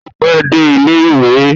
O pẹ dé ilẹ ìwé?